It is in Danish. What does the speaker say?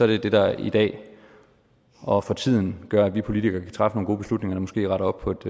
det det der i dag og for tiden gør at vi politikere kan træffe nogle gode beslutninger og måske rette op på et